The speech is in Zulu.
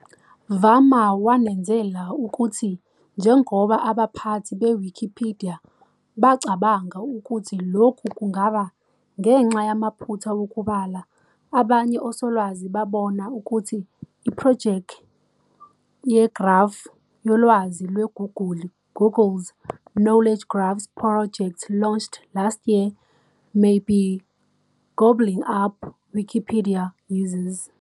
"Varma wanezela ukuthi,"Njengoba abaphathi be-Wikipidiya bacabanga ukuthi lokhu kungaba ngenxa yamaphutha wokubala, abanye osolwazi babona ukuthi iphrojekhi yeGrafu Yolwazi Lweguguli Google's Knowledge Graphs project launched last year may be gobbling up Wikipedia users."